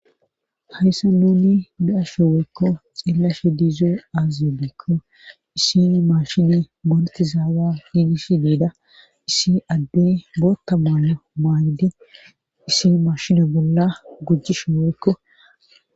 hayssa nuni bi7ashe woykko xeellashe diizo azbeekko issini mashine mortizaaza hiidish diida issi addey bootta maalo maagiden issin mashine bolla gujjishi woykko